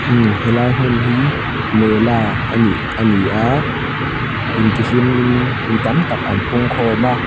imm helai hmun hi mela anih ani a intihlim in mipui an pungkhawm a--